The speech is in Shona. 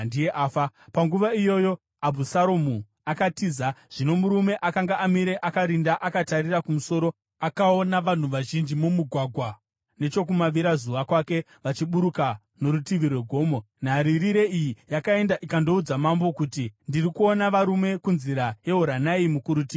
Panguva iyoyo, Abhusaromu akatiza. Zvino murume akanga amire akarinda akatarira kumusoro akaona vanhu vazhinji mumugwagwa nechokumavirazuva kwake, vachiburuka norutivi rwegomo. Nharirire iyi yakaenda ikandoudza mambo kuti, “Ndiri kuona varume kunzira yeHoronaimu, kurutivi rwegomo.”